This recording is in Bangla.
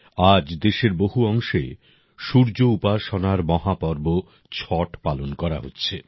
আজ দেশের বহু অংশে সূর্য উপাসনার মহাপর্ব ছট পালন করা হচ্ছে